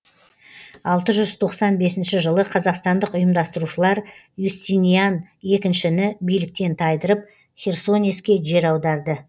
алты жүз тоқсан бесінші жылы қазақстандық ұйымдастырушылар юстиниан екіншіні биліктен тайдырып херсонеске жер аударды